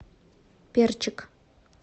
перчик